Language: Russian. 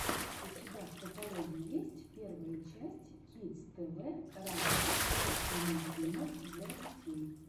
у тебя в каталоге есть первая часть кидс тв раша русский мультфильмов для детей